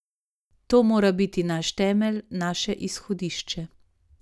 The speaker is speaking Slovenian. To mora biti naš temelj, naše izhodišče.